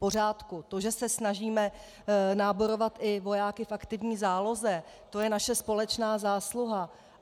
To, že se snažíme náborovat i vojáky v aktivní záloze, to je naše společná zásluha.